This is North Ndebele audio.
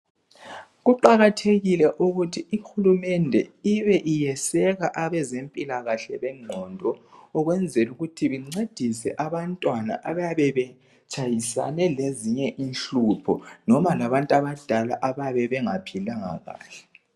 Kuqakathekile ukuthi ihulumende ibe iyeseka abezempilakahle bengqondo ukwenzela ukuthi bencedise abantwana abayabe betshayisane lezinye inhlupho noma labantu abadala abayabe bengaphilanga kahle.